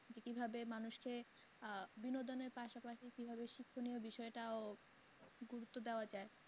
যে কি ভাবে মানুষকে আহ বিনোদনের পাশাপাশি কীভাবে শিকক্ষণীয় বিষয়টাও গুরুত্ব দেওয়া যায়।